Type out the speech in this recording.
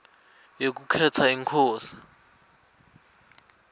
yekukhetsa inkosi